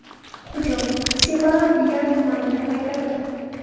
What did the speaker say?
Hujum Sebaa-Biar tumanida qaytarildi.